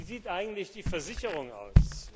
Wie sieht eigentlich die Versicherung aus?